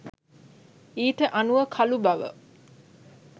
ඊට අනුව කළු බව